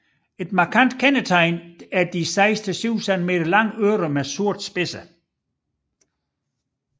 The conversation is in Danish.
Et markant kendetegn er de 6 til 7 centimeter lange ører med sorte spidser